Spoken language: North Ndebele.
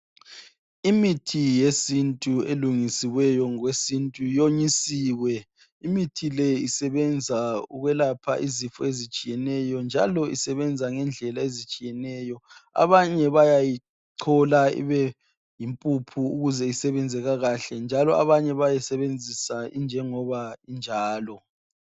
Imithi yesintu elungisiweyo ngokwesintu yonyisiwe. Imithi le isebenza ukwelapha izifo ezitshiyeneyo njalo isebenza ngendlela ezitshiyeneyo. Abanye bayayichola ibe yimpuphu ukuze isebenze kakahle, njalo abanye bayayisebenzisa injengoba injalo.